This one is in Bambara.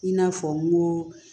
I n'a fɔ n ko